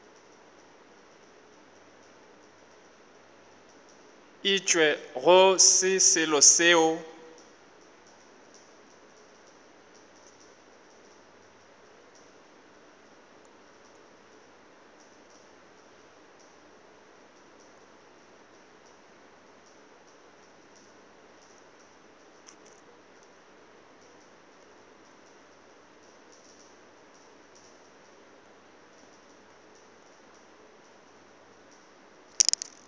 etšwe go se selo seo